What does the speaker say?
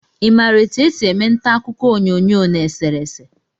I maara etu e si eme ntaakụkọ onyoonyo na eserese?